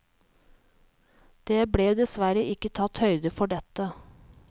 Det ble dessverre ikke tatt høyde for dette.